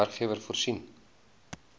werkgewer voorsien